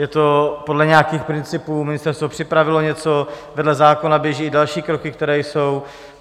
Je to podle nějakých principů, ministerstvo připravilo něco, vedle zákona běží i další kroky, které jsou.